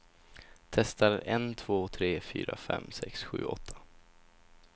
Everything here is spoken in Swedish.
Testar en två tre fyra fem sex sju åtta.